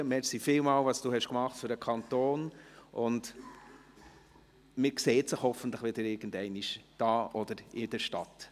Vielen Dank, für das, was Sie, Prisca Lanfranchi, für den Kanton getan haben, und man sieht sich hoffentlich wieder einmal, hier oder in der Stadt.